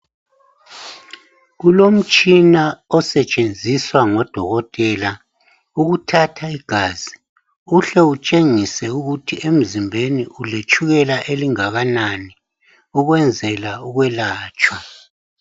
Kulomtshina osetshenziswa ngodokotela ukuthatha igazi uhle utshengise ukuthi emzimbeni uletshukela elingakanani ukwenzela ukwelatshwa